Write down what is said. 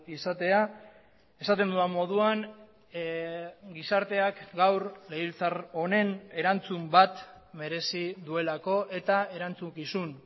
izatea esaten dudan moduan gizarteak gaur legebiltzar honen erantzun bat merezi duelako eta erantzukizun